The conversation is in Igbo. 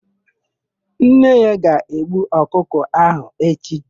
Nne ya ga-egbu ọkụkọ áhụ̀ echi.